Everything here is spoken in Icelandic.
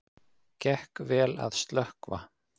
Gekk vel að slökkva